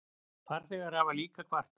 Farþegar hafa líka kvartað.